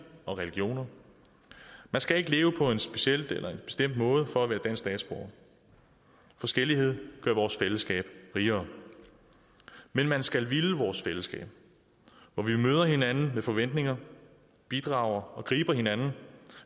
og religioner man skal ikke leve på en speciel eller en bestemt måde for at være dansk statsborger forskellighed gør vores fællesskab rigere men man skal ville vores fællesskab hvor vi møder hinanden med forventninger bidrager og griber hinanden